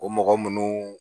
O mɔgɔ munnu